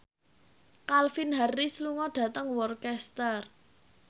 Calvin Harris lunga dhateng Worcester